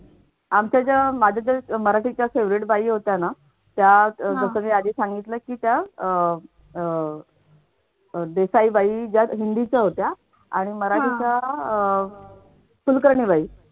आमच्या ज्या माझ्या ज्या मराठीच्या favorite बाई होत्या ना त्या जस मी आधी सांगितलं कि त्या अह अह देसाई बाई ज्या हिंदीच्या होत्या आणि मराठीच्या अह कुलकर्णीबाई